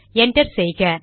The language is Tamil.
என்டர் செய்க